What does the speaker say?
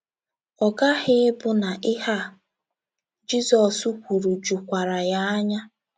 Ọ ghaghị ịbụ na ihe a Jizọs kwuru jukwara ya anya.